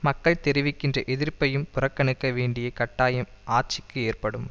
மக்கள் தெரிவிக்கின்ற எதிர்ப்பையும் புறக்கணிக்க வேண்டிய கட்டாயம் ஆட்சிக்கு ஏற்படும்